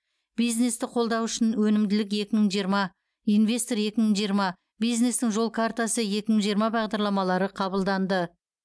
бизнесті қолдау үшін өнімділік екі мың жиырма инвестор екі мың жиырма бизнестің жол картасы екі мың жиырма бағдарламалары қабылданды